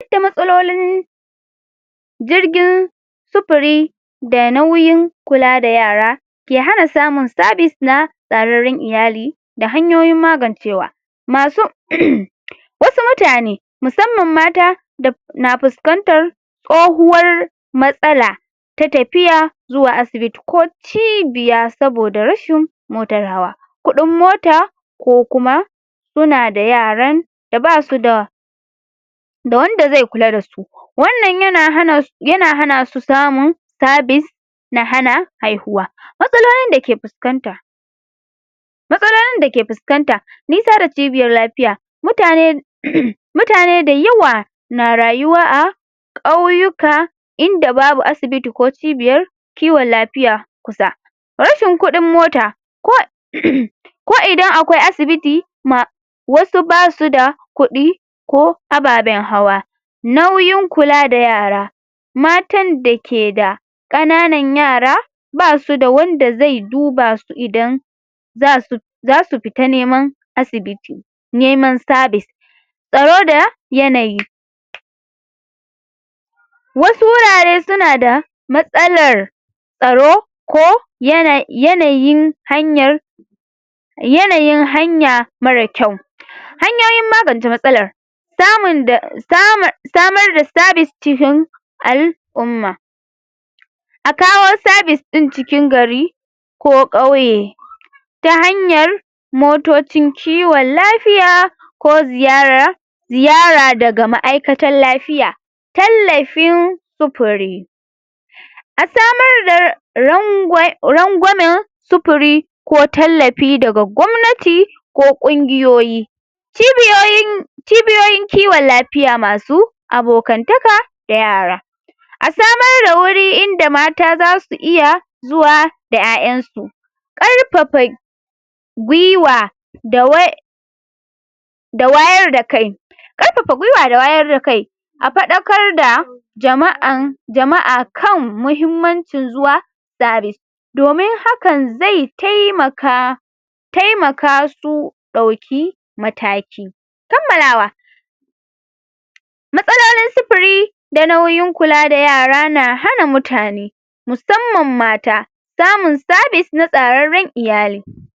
duk da matsalalolin jirgin sufuri da nauyin kula da yara ke hana samun service na tsararran iyali da hanyoyin magancewa masu wasu mutane musamman mata da na fuskantan tsohuwar matsala ta tafiya zuwa asibiti ko cibiya saboda rashin motar hawa kudin mota ko kuma sunada yaran da basuda da wanda ze kula dasu wannan yana hana yana hanasu samun service na hana haihuwa matsalolin dake fuskanta matsalolin dake fuskanta ni kara cibiyar lafiya mutane mutane dayawa na rayuwa a kauyuka inda babu asibiti ko cibiyar kiwon lafiya kusa rashin kudin mota ko ko idan akwai asibiti ma wasu basuda kudi ko ababen hawa nauyin kulada yara matan da keda kananan yara basuda wanda ze dubasu idan zasu zasu fita neman asibiti neman service tsaro da yanayi wasu wurare sunada matsalar tsaro ko yana yanayin hanyar yanayin hanya mara kyau hanyoyin maganta matsalar samun da samu samarda service cikin al'umma akawo service din cikin gari ko kauye ta hanyar motocin kiwon lafiya ko ziyarar ziyara daga ma'aikatan lafiya tallafin sufuri asamarda ragwai rangwame sufuri ko tallafi daga gwamnati ko ƙungiyoyi cibiyoyin cibiyoyin kiwon lafiya masu abokantaka da yara asamarda wuri inda mata zasu iya zuwa da iyaiyansu karfafa gwiwa da way da wayarda kai karfafa gwiwa da wayarda kai afadakarda jama'an jama'a kan muhimmancin zuwa service domin haka ze taimaka taimaka su dauki mataki kammalawa matsalolin sufuri da nauyin kulada yara na hana mutane musamman mata samun service na tsararran iyali